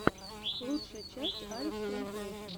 лучшая часть алекстранслейшен